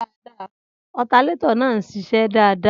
Alternator náà ń ṣiṣẹ́ dáadáa